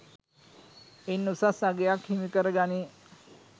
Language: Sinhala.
ඉන් උසස් අගයක් හිමිකර ගනියි